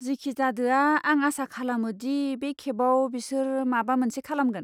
जिखिजादोआ, आं आसा खालामो दि बे खेबाव बिसोर माबा मोनसे खालामगोन।